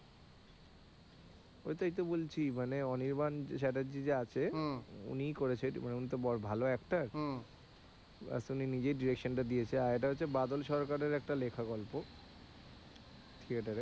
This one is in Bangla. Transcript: ওইটাই তো বলছি মানে অনির্বাণ চ্যাটার্জি যে আছে উনি করেছে উনি তো বড়ো ভালো actor বাস উনি নিজেই direction টা দিয়েছে আর এটা হচ্ছে বাদল সরকারের একটা লেখা গল্প থিয়েটারে।